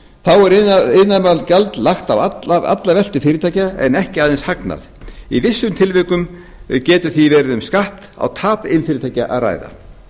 þá er iðnaðarmálagjald lagt á alla veltu fyrirtækja en ekki aðeins hagnað í vissum tilvikum getur því verið um skatt á tap iðnfyrirtækja að ræða